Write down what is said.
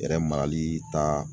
Yɛrɛ marali ta